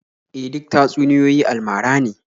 E, duk tatsuniyoyi almara ne.